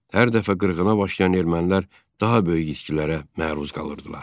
Hər dəfə qırğına başlayan ermənilər daha böyük itkilərə məruz qalırdılar.